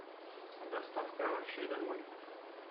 доставка овощей домой